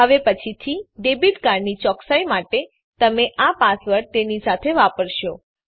હવે પછીથી ડેબીટ કાર્ડની ચોકસાઈ માટે તમે આ પાસવર્ડ તેની સાથે વાપરશો